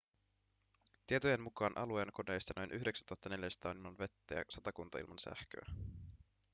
tietojen mukaan alueen kodeista noin 9 400 on ilman vettä ja satakunta ilman sähköä